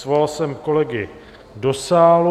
Svolal jsem kolegy do sálu.